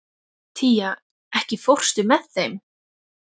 Tía, ekki fórstu með þeim?